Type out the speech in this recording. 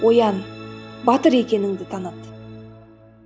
оян батыр екеніңді таныт